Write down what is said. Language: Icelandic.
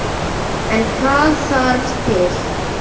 En hvað þarf til.